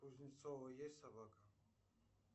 у кузнецова есть собака